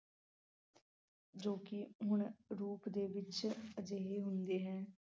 ਜੋ ਕਿ ਹੁਣ ਰੂਪ ਦੇ ਵਿਚ ਅਜਿਹੇ ਹੁੰਦੇ ਹੈ